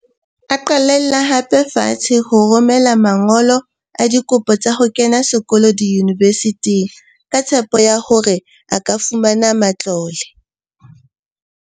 A qalella hape fatshe ho rome la man golo a dikopo tsa ho kena sekolo diyunivesithing ka tshepo ya hore a ka fumana matlole.